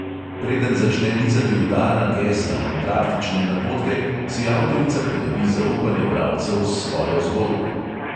Preden začne nizati udarna gesla in praktične napotke, si avtorica pridobi zaupanje bralcev s svojo zgodbo.